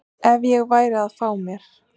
ef að ég væri að fá mér.